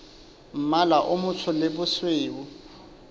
mmala o motsho le bosweu